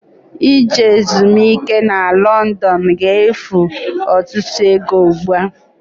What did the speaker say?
Ije ezumiike na London ga-efu ọtụtụ ego ugbu a.